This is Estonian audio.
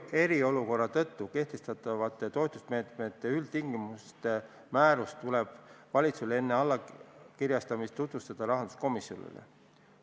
Eriolukorra tõttu kehtestatavate toetusmeetmete üldtingimuste määrust tuleb valitsusel enne allkirjastamist tutvustada rahanduskomisjonile.